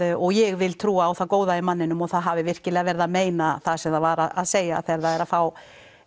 og ég vil trúa á það góða í manninum og það hafi virkilega verið að meina það sem það var að segja þegar það er að fá